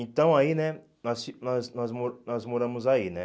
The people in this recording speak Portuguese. Então, aí, né, nós fi nós nós mo nós moramos aí, né.